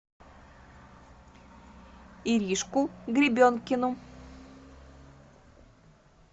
иришку гребенкину